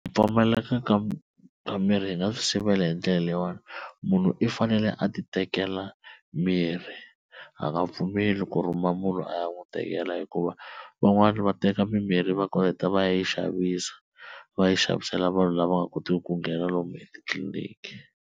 Ku pfumaleka ka ka mirhi hi nga swi sivela hi ndlela leyiwani, munhu i fanele a titekela mirhi a nga pfumeli ku rhumela munhu a ya n'wi tekela, hikuva van'wana va teka mimirhi va koleke va ya yi xavisa va yi xavisela vanhu lava nga kotiki ku nghena lomu etitliliniki.